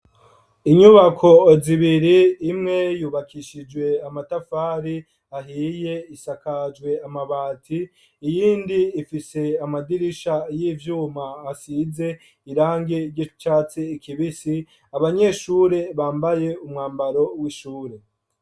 Inyubako zibiri, imwe yubakishijwe amatafari ahiye, isakajwe amabati; iyindi ifise amadirisha y'ivyuma, asize irangi ry'icatsi kibisi; abanyeshure, bambaye umwambaro w'ishure.